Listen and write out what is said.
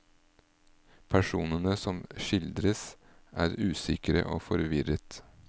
Personene som skildres er usikre og forvirret.